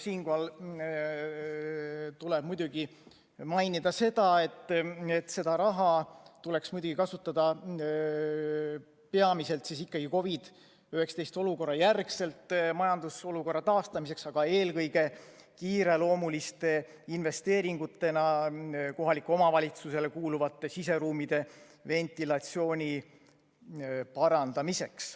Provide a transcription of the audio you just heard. Siinkohal tuleb muidugi mainida seda, et seda raha tuleks muidugi kasutada peamiselt ikkagi COVID-19 olukorra järgselt majandusolukorra taastamiseks, aga eelkõige kiireloomuliste investeeringutena kohalikele omavalitsustele kuuluvate siseruumide ventilatsiooni parandamiseks.